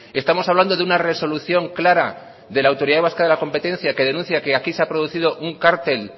estamos hablando de una resolución clara de la autoridad vasca de la competencia que denuncia que aquí se ha producido un cártel